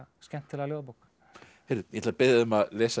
skemmtilega ljóðabók ég ætla að biðja þig að lesa